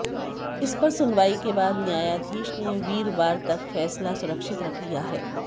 इस पर सुनवाई के बाद न्यायाधीश ने वीरवार तक फैसला सुरक्षित रख लिया है